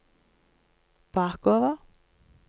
bakover